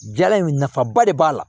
Jala in nafaba de b'a la